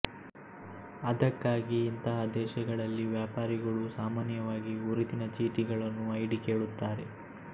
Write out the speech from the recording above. ಅದಕ್ಕಾಗಿ ಇಂತಹ ದೇಶಗಳಲ್ಲಿ ವ್ಯಾಪಾರಿಗಳು ಸಾಮಾನ್ಯವಾಗಿ ಗುರುತಿನ ಚೀಟಿಗಳನ್ನುಐ ಡಿ ಕೇಳುತ್ತಾರೆ